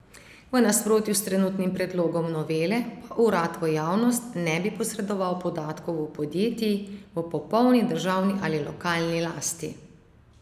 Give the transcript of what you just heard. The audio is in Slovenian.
V nasprotju s trenutnim predlogom novele pa urad v javnost ne bi posredoval podatkov podjetij v popolni državni ali lokalni lasti.